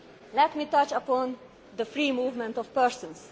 system. Let me touch upon the free movement of